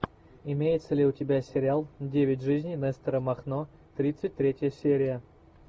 имеется ли у тебя сериал девять жизней нестора махно тридцать третья серия